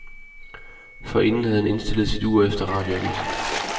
Forinden havde han stillet sit ur efter radioavisen.